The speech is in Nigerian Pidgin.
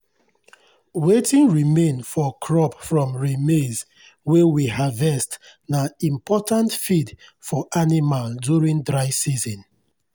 wetin remain for crop from rhe maize wey we harvest na important feed for animal during dry season.